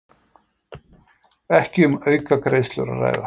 Ekki um aukagreiðslur að ræða